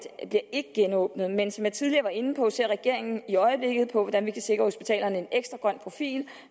ikke genåbnet men som jeg tidligere var inde på ser regeringen i øjeblikket på hvordan vi kan sikre hospitalerne en ekstra grøn profil